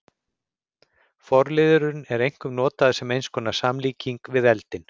Forliðurinn er einkum notaður sem eins konar samlíking við eldinn.